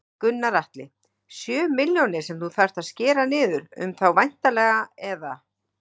Gunnar Atli: Sjö milljónir sem þú þarft að skera niður um þá væntanleg eða?